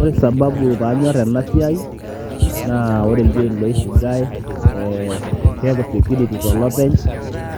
ore sababu panyorr enasiai naa ore ildiein loifugae eh, keku security tolopeny